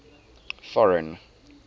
foreign